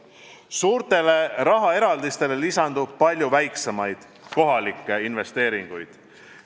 Suurtele rahaeraldistele lisandub palju väiksemaid kohalikke investeeringuid.